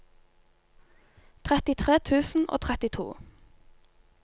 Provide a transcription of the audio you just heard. trettitre tusen og trettito